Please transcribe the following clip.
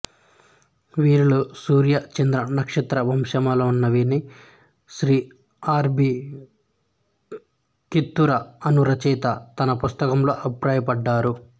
వీరిలో సూర్య చంద్ర నక్షత్ర వంశములున్నవని శ్రీ ఆర్ బి కిత్తూర అను రచయిత తన పుస్తకంలో అభిప్రాయపడ్డారు